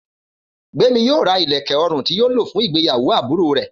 Gbémi yóò ra ìlẹ̀kẹ̀ ọrùn tí yóò lò fún ìgbéyàwó àbúrò rẹ̀